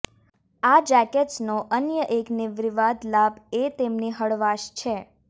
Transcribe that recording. આ જેકેટ્સનો અન્ય એક નિર્વિવાદ લાભ એ તેમની હળવાશ છે